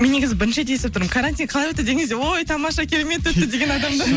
мен негізі бірінші естіп тұрмын карантин қалай өтті деген кезде ой тамаша керемет өтті деген адамды